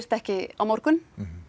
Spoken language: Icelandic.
ekki á morgun